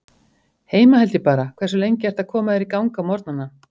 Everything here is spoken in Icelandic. Heima held ég bara Hversu lengi ertu að koma þér í gang á morgnanna?